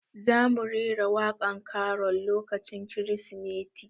Za mu rera waƙan karol lokacin kirismeti